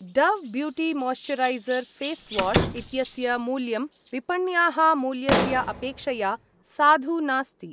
Dove beauty moisturiser face wash इत्यस्य मूल्यं विपण्याः मूल्यस्य अपेक्षया साधु नास्ति।